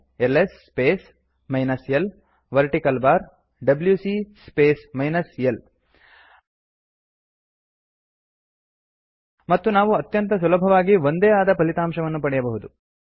LS space minus l vertical bar ಡಬ್ಯೂಸಿ space minus l ಮತ್ತು ನಾವು ಅತ್ಯಂತ ಸುಲಭವಾಗಿ ಒಂದೇ ಆದ ಫಲಿತಾಂಶವನ್ನು ಪಡೆಯಬಹುದು